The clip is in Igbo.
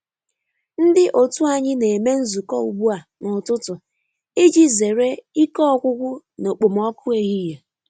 Ndi otu anyị na-eme nzukọ ugbu a n’ụtụtụ iji zere ike ọgwụgwụ n’okpomọku ehihie.